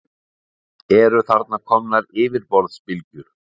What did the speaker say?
Eru þar komnar yfirborðsbylgjur.